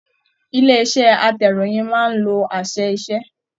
Ilé iṣẹ atẹ̀róyin máa n ló àṣẹ-iṣẹ.